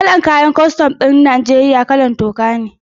Kalar kayan aikin kwastam ɗin Najeriya ruwan toka ne